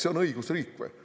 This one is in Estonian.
See on õigusriik või?